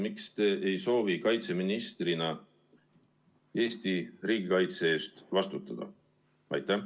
Miks te ei soovi kaitseministrina Eesti riigikaitse eest vastutada?